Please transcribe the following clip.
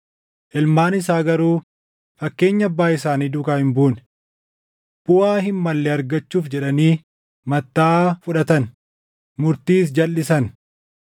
Ilmaan isaa garuu fakkeenya abbaa isaanii duukaa hin buune. Buʼaa hin malle argachuuf jedhanii mattaʼaa fudhatan; murtiis jalʼisan.